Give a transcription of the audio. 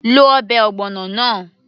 lo ọbẹ̀ ogbono náà